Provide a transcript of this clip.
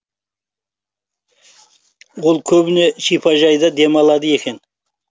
ол көбіне шипажайда демалады екен